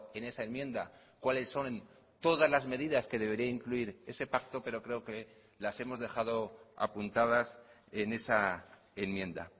en esa enmienda cuáles son todas las medidas que debería incluir ese pacto pero creo que las hemos dejado apuntadas en esa enmienda